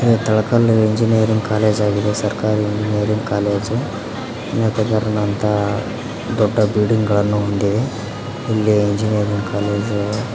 Talakal engineering college ಆಗಿದೆ ಸರ್ಕಾರಿ engineering college ಅದೇ ತರದಂತಹ ದೊಡ್ಡ ಬಿಲ್ಡಿಂಗ್ ಗಳನ್ನು ಹೊಂದಿದೆ ಇಲ್ಲಿ ಇಂಜಿನಿಯರಿಂಗ್ ಕಾಲೇಜು.